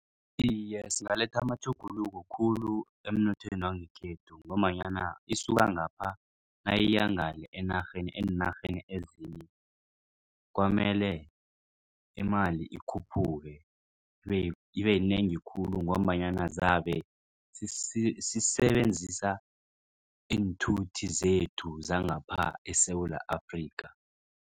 Iye, singaletha amatjhuguluko khulu emnothweni wangekhethu. Ngombanyana isuka ngapha nayangale enarheni eenarheni ezinye kwamele imali ikhuphuke ibeyinengi khulu ngombanyana zabe sisebenzisa iinthuthi zethu zangapha eSewula Afrika.